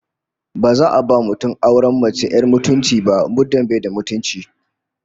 Ba za a ba mutum auren mace 'yar mutunci ba muddin ba shi da mutunci